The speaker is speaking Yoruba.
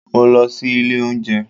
Mo lọ sí ilé óúnjẹ